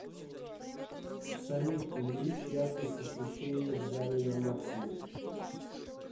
салют увеличь яркость освещения в зале на максимум